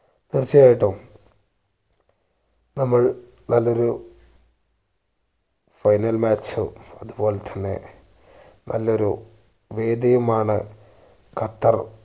തീർച്ചയായിട്ടും നമ്മൾ നല്ലൊരു final match ഓ അതുപോൽത്തന്നെ നല്ലൊരു വേദിയുമാണ് ഖത്തർ